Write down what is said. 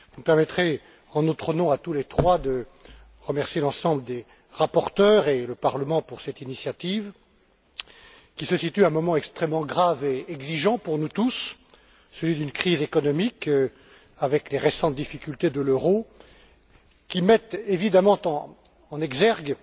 Vous me permettrez, en notre nom à tous les trois, de remercier l'ensemble des rapporteurs et le Parlement pour cette initiative, qui se situe à un moment extrêmement grave et exigeant pour nous tous, celui d'une crise économique, avec les récentes difficultés de l'euro, qui mettent évidemment en exergue